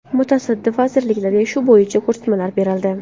Mutasaddi vazirliklarga shu bo‘yicha ko‘rsatmalar berildi.